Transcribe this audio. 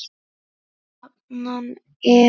Jafnan er